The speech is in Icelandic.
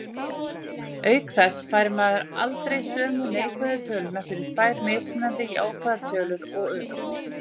Auk þess fær maður aldrei sömu neikvæðu töluna fyrir tvær mismunandi jákvæðar tölur og öfugt.